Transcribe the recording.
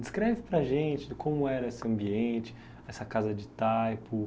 Descreve para a gente de como era esse ambiente, essa casa de taipo.